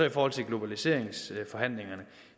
i forhold til globaliseringsforhandlingerne